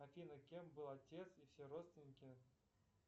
афина кем был отец и все родственники